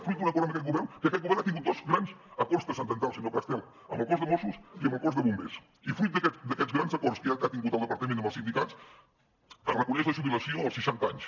fruit d’un acord amb aquest govern que aquest govern ha tingut dos grans acords transcendentals senyor castel amb el cos de mossos i amb el cos de bombers i fruit d’aquests grans acords que ha tingut el departament amb els sindicats es reconeix la jubilació als seixanta anys